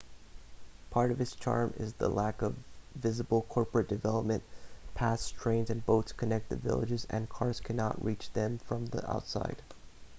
part of its charm is the lack of visible corporate development paths trains and boats connect the villages and cars cannot reach them from the outside